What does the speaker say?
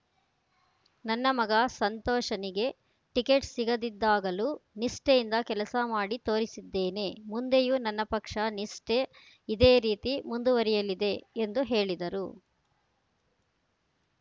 ನನ್ನ ಮಗ ಸಂತೋಷನಿಗೆ ಟಿಕೆಟ್‌ ಸಿಗದಿದ್ದಾಗಲೂ ನಿಷ್ಠೆಯಿಂದ ಕೆಲಸ ಮಾಡಿ ತೋರಿಸಿದ್ದೇನೆ ಮುಂದೆಯೂ ನನ್ನ ಪಕ್ಷ ನಿಷ್ಠೆ ಇದೇ ರೀತಿ ಮುಂದುವರೆಯಲಿದೆ ಎಂದು ಹೇಳಿದರು